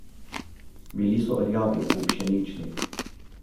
Bili so rjavi ali pšenični.